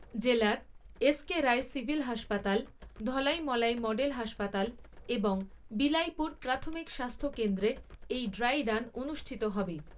জেলার SK Roy civil হাসপাতাল, ধলাই মলাই মডেল হাসপাতাল এবং বিলাইপুর প্রাথমিক স্বাস্থ্যকেন্দ্রে এই ড্রাই রান অনুষ্ঠিত হবে।